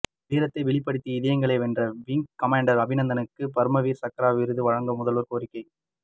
வீரத்தை வெளிப்படுத்தி இதயங்களை வென்ற விங் கமாண்டர் அபிநந்தனுக்கு பரம்வீர் சக்ரா விருது வழங்க முதல்வர் கோரிக்கை